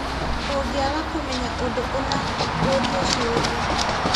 Ũngĩaga kũmenya ũndũ ũna, ũũrie ciũria.